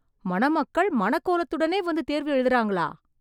மணமக்கள் மணக்கோலத்துடனே வந்து தேர்வு எழுதறாங்களா...